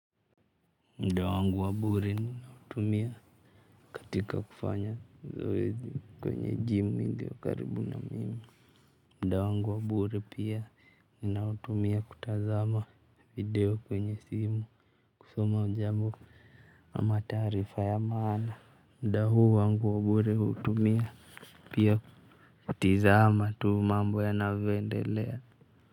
Muda wangu wa bure ninautumia katika kufanya zoezi kwenye gym iliokaribu na mimi muda wangu wa bure pia ninautumia kutazama video kwenye simu. Kusoma jambo ama taarifa ya maana. Muda huu wangu wa bure hutumia pia kutazama tu mambo yanavyoendelea.